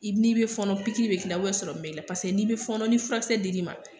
I ni be fɔɔnɔ pikiri bi k'i la . Paseke ni be fɔɔnɔ ni furakisɛ di l'i ma.